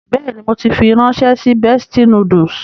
Bẹ́ẹ̀ni, mo ti fi ránṣẹ́ sí Bestie Noodles.